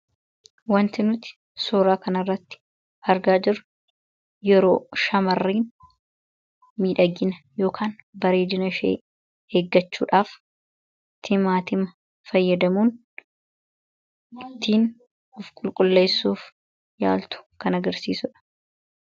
Waanti nuti suura kana irratti argaa jirru yeroo shaamarri miidhagina yookaan bareedina ishee eeggachuudhaaf Timaatima fayyadamuun ittiin ofqulqulleessuuf yaaltu kan agarsiisudha.